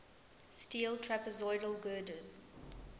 steel trapezoidal girders